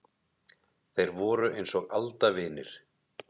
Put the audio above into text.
Þeir voru eins og aldavinir.